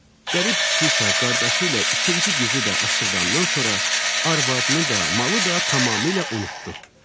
Qərib kişi isə qardaşı ilə ikinci güzü də aşırdandan sonra arvadını da, malı da tamamilə unutdu.